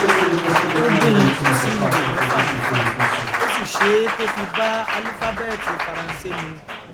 ó dín in kù sí ihò mẹfàmẹfà ó sì ṣé e to fi bá álúfábẹẹtì faransé mu